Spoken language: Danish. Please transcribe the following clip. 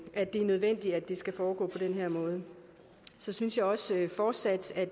at det er nødvendigt at det skal foregå på den her måde så synes jeg også fortsat at